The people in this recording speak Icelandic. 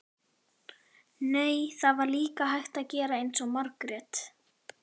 Nei, það var líka hægt að gera eins og Margrét.